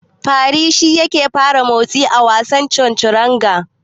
Fari shi yake fara motsi a wasan Chanturanga.